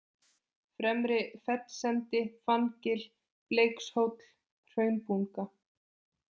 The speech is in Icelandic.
Fremri-Fellsendi, Fanngil, Bleikshóll, Hraunbunga